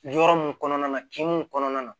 Yɔrɔ mun kɔnɔna na kinni kɔnɔna na